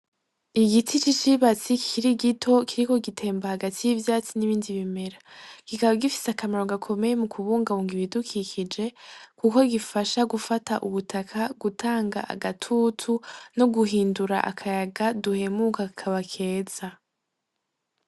Igiti c'icibatsi kikiri gito kiriko gitemba hagati y'ivyatsi n'ibindi bimera, kikaba gifise akamaro gakomeye mu kubungabunga ibidukikije kuko gifasha gufata ubutaka gutanga agatutu no guhindura akayaga duhemuka kakaba keza.